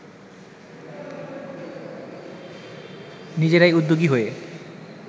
নিজেরাই উদ্যোগী হয়ে